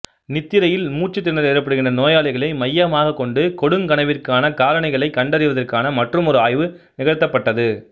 நித்திரையில் மூச்சுத்திணறல் ஏற்படுகின்ற நோயாளிகளை மையமாகக் கொண்டு கொடுங்கனவிற்கான காரணிகளை கண்டறிவதற்கான மற்றுமொரு ஆய்வு நிகழ்த்தப்பட்டது